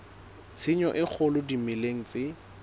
tshenyo e kgolo dimeleng tse